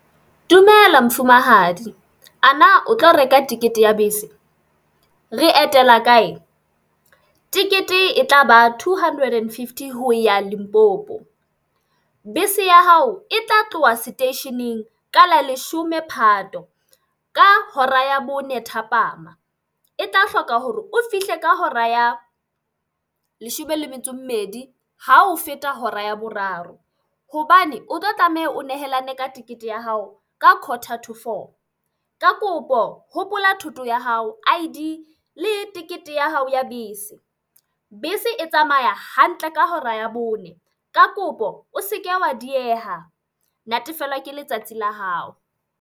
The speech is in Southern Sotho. Dumela mofumahadi. A na o tlo reka ticket ya bese? Re etela kae? Tikete e tla ba two hundred and fifty ho ya Limpopo. Bese ya hao e tla tloha seteisheneng ka la leshome Phato, ka hora ya bone thapama. E tla hloka hore o fihle ka hora ya leshome le metso e mmedi ha ho feta hora ya boraro. Hobane o tlo tlameha o nehelane ka ticket ya hao ka quoter to four. Ka kopo hopola thoto ya hao, I_D, le tikete ya hao ya bese. Bese e tsamaya hantle ka hora ya bone. Ka kopo o seke wa dieha. Natefelwa ke letsatsi la hao.